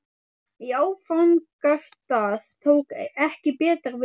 Í áfangastað tók ekki betra við.